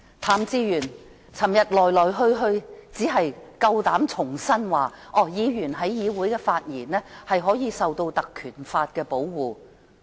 譚志源昨天只是重申，議員在議會內的發言可獲《條例》保護。